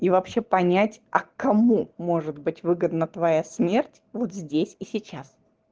и вообще понять а кому может быть выгодно твоя смерть вот здесь и сейчас